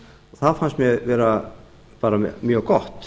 það fannst mér vera bara mjög gott